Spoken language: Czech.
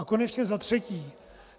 A konečně za třetí.